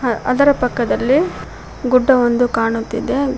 ಹ ಅದರ ಪಕ್ಕದಲ್ಲಿ ಗುಡ್ಡವೊಂದು ಕಾಣುತ್ತಿದೆ ಹಾ--